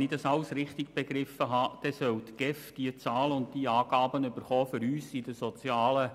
Wenn ich alles richtig verstanden habe, soll die GEF diese Zahlen und Angaben erhalten, um uns in den sozialen